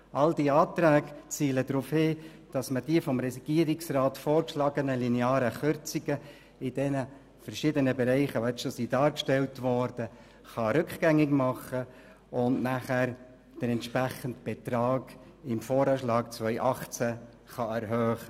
All diese Anträge zielen darauf ab, die vom Regierungsrat vorgeschlagenen linearen Kürzungen in den verschiedenen Bereichen rückgängig zu machen, um dann den entsprechenden Betrag im VA 2018 zu erhöhen.